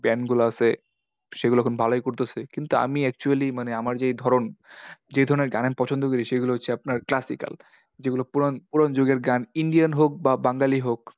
band গুলা আছে সেগুলো এখন ভালোই করতাসে। কিন্তু আমি actually মানে আমার যেই ধরণ যেই ধরণের গান আমি পছন্দ করি, সেগুলো হচ্ছে আপনার classical যেগুলো পুরান পুরান যুগের গান, Indian হোক বা বাঙালি হোক